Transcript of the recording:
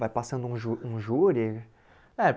Vai passando um jú um júri? É